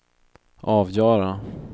avgöra